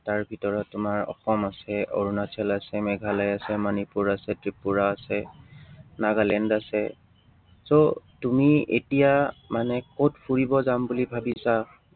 তাৰ ভিতৰত তোমাৰ অসম আছে, অৰুণাচল আছে, মেঘালয় আছে, মণিপুৰ আছে, ত্ৰিপুৰা আছে, নাগালেণ্ড আছে so তুমি এতিয়া মানে কত ফুৰিব যাম বুলি ভাবিছা?